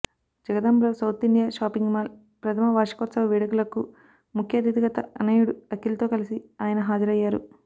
జగదాంబ లో South India shopping mall ప్రథమ వార్షికోత్సవ వేడుకలకు ముఖ్య అతిథిగా తనయుడు అఖిల్తో కలిసి ఆయన హాజరయ్యారు